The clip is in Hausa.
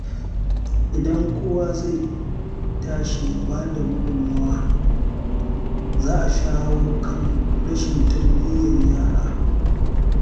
Idan kowa zai tashi ya bada gudunmawa, za a shawo kan rashin tarbiyyar yara.